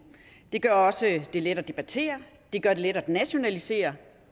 det gør det også let at debattere det gør det let at nationalisere